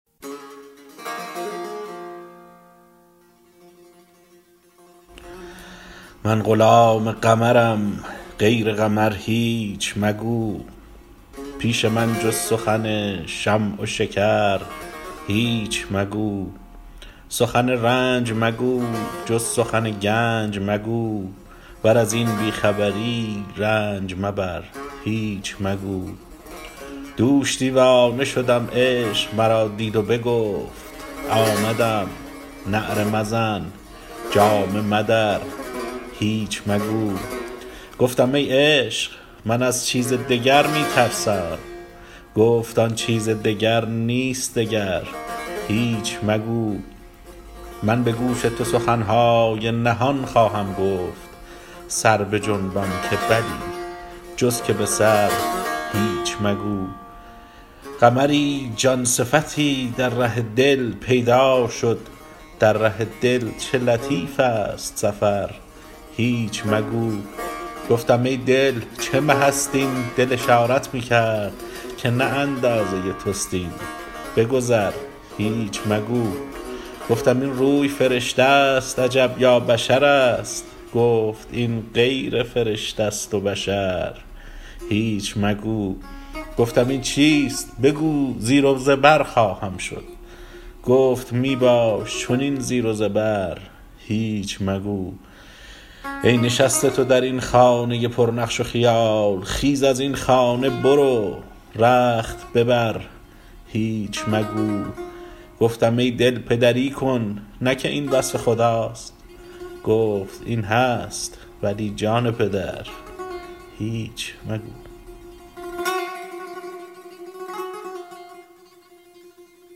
من غلام قمرم غیر قمر هیچ مگو پیش من جز سخن شمع و شکر هیچ مگو سخن رنج مگو جز سخن گنج مگو ور از این بی خبری رنج مبر هیچ مگو دوش دیوانه شدم عشق مرا دید و بگفت آمدم نعره مزن جامه مدر هیچ مگو گفتم ای عشق من از چیز دگر می ترسم گفت آن چیز دگر نیست دگر هیچ مگو من به گوش تو سخن های نهان خواهم گفت سر بجنبان که بلی جز که به سر هیچ مگو قمری جان صفتی در ره دل پیدا شد در ره دل چه لطیف ست سفر هیچ مگو گفتم ای دل چه مه ست این دل اشارت می کرد که نه اندازه توست این بگذر هیچ مگو گفتم این روی فرشته ست عجب یا بشرست گفت این غیر فرشته ست و بشر هیچ مگو گفتم این چیست بگو زیر و زبر خواهم شد گفت می باش چنین زیر و زبر هیچ مگو ای نشسته تو در این خانه پرنقش و خیال خیز از این خانه برو رخت ببر هیچ مگو گفتم ای دل پدری کن نه که این وصف خداست گفت این هست ولی جان پدر هیچ مگو